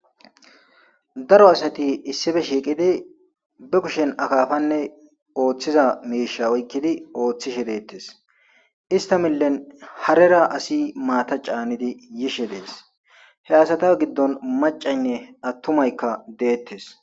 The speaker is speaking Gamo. Daro asati issippe shiiqidi be kushiyan akaappanne ooththiza miisha oyqidi ooththishe deetees. Istta milen harera asi maata caanidi yishe dees. He asata gidon maccaykka attumay deetees.